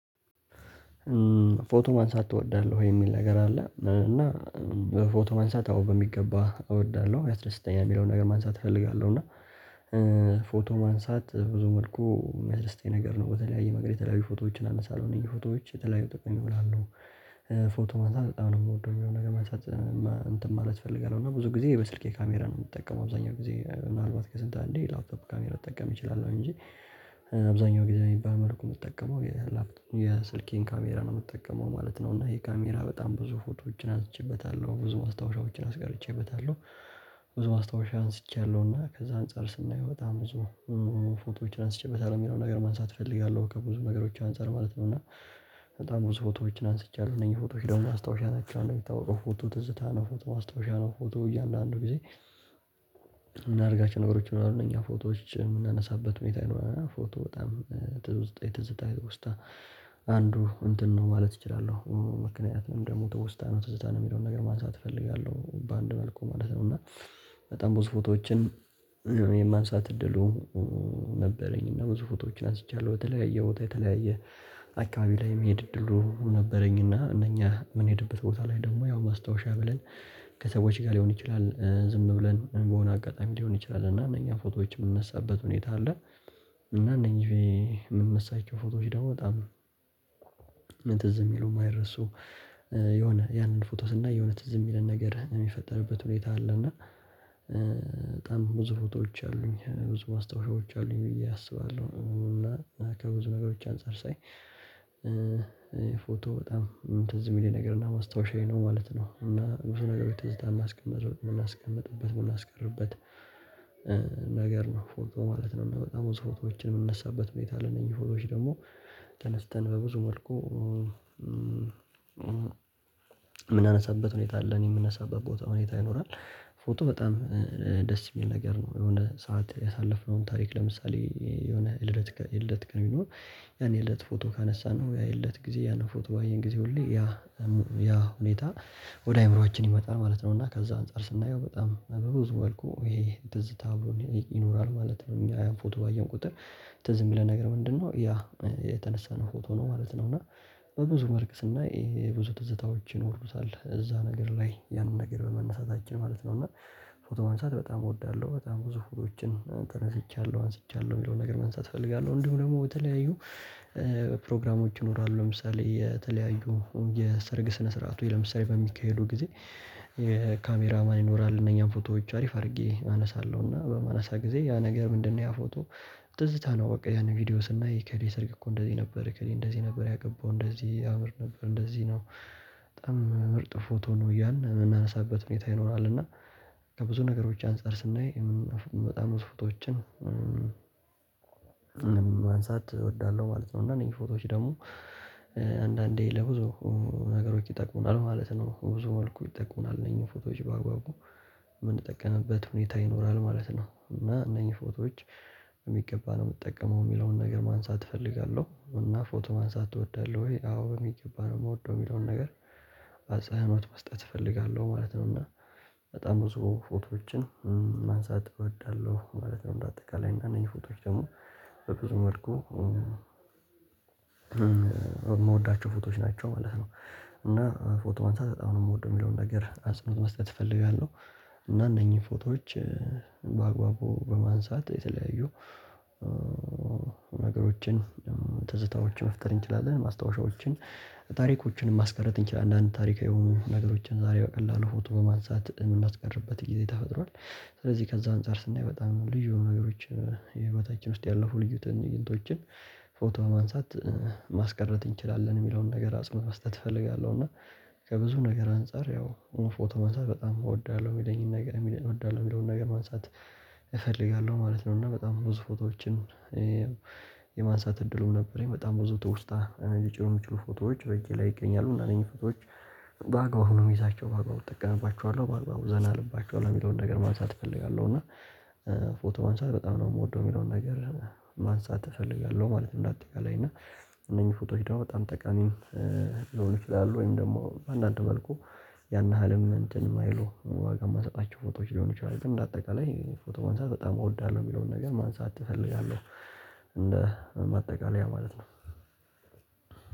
"ፎቶ ማንሳት ትወዳለሁ ወይ?" የሚል ነገር አለ፤ እና ፎቶ ማንሳት አዎ በሚገባ እወዳለሁ። ያስደስተኛል የሚለውን ነገር ማንሳት እፈልጋለሁ እና ፎቶ ማንሳት በብዙ መልኩ ሚያስደስተኝ ነገር ነው በተለያየ መንገድ የተለያዩ ፎቶዎችን አነሳለሁ። እነዚህ ፎቶዎች የተለያዩ ጥቅም ላይ ይውላሉ። ፎቶ ማንሳት በጣም ነው የምወደው የሚለውን ነገር ማንሳት እንትን ማለት እፈልጋለሁ፤ እና ብዙ ጊዜ በስልኬ ካሜራ ነው የምጠቀመው አብዛኛው ጊዜ ምናልባት ከስንት አንዴ የላፕቶፕ ካሜራ ልጠቀም እችላለሁ እንጂ አብዛኛው ጊዜ በሚባል መልኩ የምጠቀመው የላፕቶ የስልኬን ካሜራ ነው የምጠቀመው ማለት ነው፤ እና ይሄ ካሜራ በጣም ብዙ ፎቶዎችን አንስቼበታለሁ ብዙ ማስታወሻዎችን አስቀርቼበታለሁ። ብዙ ማስታወሻ አንስቼያለሁ እና ከዛ አንፃር ስናየው በጣም ብዙ ፎቶዎችን አንስቼበታለሁ የሚለውን ነገር ማንሳት እፈልጋለሁ ከብዙ ነገሮች አንፃር ማለት ነው። እና በጣም ብዙ ፎቶዎችን አንስቻለሁ እነኚህ ፎቶዎች ደግሞ ማስታውሻ ናቸው። እንደሚታወቀው ፎቶ ትዝታ ነው ፎቶ ማስታውሻ ነው ፎቶ እያንዳንዱ ጊዜ የምናደርጋቸው ነገሮች ይኖራሉ እነኛ ፎቶዎች የምናነሳበት ሁኔታ ይኖራል እና ፎቶ በጣም ትሩስጤት ትዝታ ውስጥ አንዱ እንትን ነው ማለት እችላለሁ። ምክንያቱም ደግሞ ትወስታ ነው ትዘታ ነው የሚለውን ነገር ማንሳት እፈልጋለሁ በአንድ መልኩ ማለት ነው፤ እና በጣም ብዙ ፎቶዎችን የማንሳት እድሉ ነበረኝ እና ብዙ ፎቶዎችን አንስቻለሁ በተለያየ ቦታ የተለያየ አካባቢ ላይ የመሄድ እድሉ ነበረኝና እነኛ የምንሄድበት ቦታ ላይ ደግሞ ያው ማስታወሻ ብለን ከሰዎች ጋር ሊሆን ይችላል ዝም ብለን በሆነ አጋጣሚ ሊሆን ይችላል እና እነኛ ፎቶዎች የምንነሳበት ሁኔታ አለ እና እነኚህ የምንነሳቸው ፎቶዎች ደግሞ በጣም ትዝ የሚሉ የማይረሱ የሆነ ያንን ፎቶ ስናይ የሆነ ትዝ የሚለን ነገር የሚፈጠርበት ሁኔታ አለ፤ እና በጣም ብዙ ፎቶዎች አሉኝ ብዙ ማስታውሾች አሉኝ ብዬ አስባለሁ እና ከብዙ ነገሮች አንፃር ሳይ ፎቶ በጣም ትዝ የሚለኝ ነገር እና ማስታወሻዬ ነው ማለት ነው እና ብዙ ነገሮች ትዝታ የማስቀምጥ የምናስቀምጥበት የምናስቀርበት ነገር ነው ፎቶ ማለት ነው እና በጣም ብዙ ሮቶዎችን የምንነሳበት ሁኔታ አለ እነኚህ ፎቶዎች ደግሞ ተነስተን በብዙ መልኩ የምናነሳበት ሁኔታ አለ እኔ የምነሳበት ቦታ ሁኔታ ይኖራል ፎቶ በጣም ደስ የሚል ነገር ነው የሆነ ሰዓት ያሳለፍነውን ታሪክ ለምሳሌ የሆነ ልደት የልደት ቀን ቢኖር ያን የልደት ፎቶ ካነሳነው ያ የልደት ጊዜ ያን ፎቶ ባየን ጊዜ ሁሌ ያ ያ ያ ሁኔታ ወደ አእምሮአችን ይመጣል ማለት ነው፤ እና ከዛ አንፃር ስናየው በጣም በብዙ መልኩ ይሄ ትዝታ አብሮን ይኖራል ማለት ነው። እኛ ያን ፎቶ ባየን ቁጥር ትዝ የሚለን ነገር ምንድነው ያ የተነሳነው ፎቶ ነው ማለት ነው፤ እና በብዙ መልክ ስናይ የብዙ ትዝታዎች ይኖሩታል እዛ ነገር ላይ ያንን ነገር በመነሳታችን ማለት ነው፤ እና ፎቶ ማንሳት በጣም እወዳለሁ በጣም ብዙ ፎቶዎችን ተነስቻለሁ አንስቻለሁ የሚለውን ነገር ማንሳት እፈልጋለሁ። እንዲሁ ደግሞ በተለያዩ ፕሮግራሞች ይኖራሉ ለምሳሌ የተለያዩ የሰርግ ስነ ስርዓቶች ለምሳሌ በሚካሄዱ ጊዜ ካሜራ ማን ይኖራል እነኛን ፎቶዎች አሪፍ አድርጌ አነሳለሁና በማነሳ ጊዜ ያ ነገር ምንድነው ያ ፎቶ ትዝታ ነው በቃ ያንን ቪዲዮ ስናይ የእከሌ ሰርግ እኮ እንደዚህ ነበር። እከሌ እንደዚህ ነበር ያገባው። እንደዚህ ያምር ነበር። እንደዚህ ነው በጣም ምርጥ ፎቶ ነው። እያልን የምናነሳበት ሁኔታ ይኖራል እና ከብዙ ነገሮች አንፃር ስናይ በጣም ብዙ ፎቶዎችን ማንሳት እወዳለሁ ማለት ነው። እና እነኚህ ፎቶዎች ደግሞ አንዳንዴ ለብዙ ነገሮች ይጠቅሙናል ማለት ነው። በብዙ መልኩ ይጠቅሙናል እነኚህን ፎቶዎች በአግባቡ የምንጠቀምበት ሁኔታ ይኖራል ማለት ነው፤ እና እነኚህ ፎቶዎች በሚገባ ነው የምትጠቀመው የሚለውን ነገር ማንሳት እፈልጋለሁ፤ እና "ፎቶ ማንሳት እወዳለሁ ወይ?" አዎ በሚገባ ነው የምወደው የሚለውን ነገር አጽህኖት መስጠት እፈልጋለሁ ማለት ነው፤ እና በጣም ብዙ ፎቶዎችን ማንሳት እወዳለሁ ማለት ነው። እንደ አጠቃላይ እና እነኚህ ፎቶዎች ደግሞ በብዙ መልኩ የምወዳቸው ፎቶዎች ናቸው ማለት ነው እና ፎቶ ማንሳት በጣም ነው የምወደው የሚለውን ነገር አጽኖት መስጠት እፈልጋለሁ። እና እነኚህን ፎቶዎች በአግባቡ በማንሳት የተለያዩ ነገሮችን ትዝታዎችን መፍጠር እንችላለን፤ ማስታወሻዎችን ታሪኮችን ማስቀረት እንችላለን። አንዳንድ ታሪካዊ የሆኑ ነገሮችን ዛሬ በቀላሉ ፎቶ በማንሳት እምናስቀርበት ጊዜ ተፈጥሯል። ስለዚህ ከዛ አንፃር ስናይ በጣም ልዩ ነገሮችን ህይወታችን ውስጥ ያለፉ ልዩ ትንይንቶችን ፎቶ ማንሳት ማስቀረት እንችላለን የሚለውን ነገር አጽንኦት መስጠት እፈልጋለሁ እና ከብዙ ነገር አንፃር ያው ፎቶ ማንሳት በጣም እወዳለሁ የሚለኝን ነገር የሚለ እወዳለሁ የሚለውን ነገር ማንሳት እፈልጋለሁ ማለት ነው እና በጣም ብዙ ፎቶዎችን የማንሳት እድሉም ነበረኝ በጣም ብዙ ትውስታ ሊጭሩ የሚችሉ ፎቶዎች በእጄ ላይ ይገኛሉ እና እነኚህ ፎቶዎች በአግባቡ ነው የምይዛቸው በአግባቡ እጠቀምባቸዋለሁ በአግባቡ ዘና እልባቸዋለሁ የሚለውን ነገር ማንሳት እፈልጋለሁ፤ እና ፎቶ ማንሳት በጣም ነው የምወደው የሚለውን ነገር ማንሳት እፈልጋለሁ ማለት ነው እንደ አጠቃላይ እና እነኚህ ፎቶዎች ደግሞ በጣም ተቃሚም ሊሆኑ ይችላሉ ወይም ደግሞ በአንዳንድ መልኩ ያን ያህልም እንትን የማይሉ ዋጋ የማንሰጣቸው ፎቶዎች ሊሆኑ ይችላሉ ግን እንደ አጠቃላይ ፎቶ ማንሳት በጣም እወዳለሁ የሚለውን ነገር ማንሳት እፈልጋለሁ። እንደ ማጠቃለያ ማለት ነው።